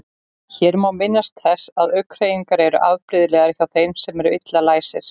Hér má minnast þess að augnhreyfingar eru afbrigðilegar hjá þeim sem eru illa læsir.